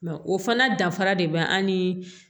Mɛ o fana dafara de bɛ an ni